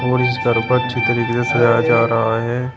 और इस तरीके से सजाया जा रहा है।